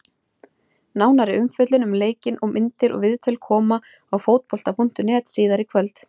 Nánari umfjöllun um leikinn, myndir og viðtöl koma á Fótbolta.net síðar í kvöld.